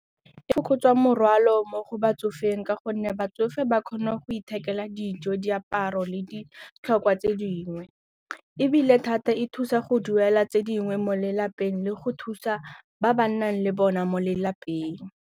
E fokotsa morwalo mo go batsofeng ka gonne batsofe ba kgona go ithekela dijo, diaparo le ditlhokwa tse dingwe ebile thata e thusa go duela tse dingwe mo lelapeng le go thusa ba ba nnang le bona mo lelapeng.